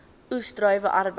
oes druiwe arbeid